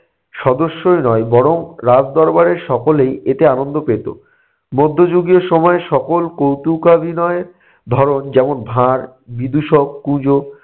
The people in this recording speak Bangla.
সদস্যই নয় বরং রাজদরবারে সকলেই এতে আনন্দ পেতো। মধ্যযুগীয় সময় সকল কৌতুকাভিনয় ধরন যেমন - ভাঁড়, বিদূষক, কুজো